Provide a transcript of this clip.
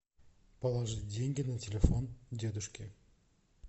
положить деньги на телефон дедушке